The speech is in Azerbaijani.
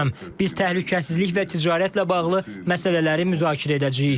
Biz təhlükəsizlik və ticarətlə bağlı məsələləri müzakirə edəcəyik.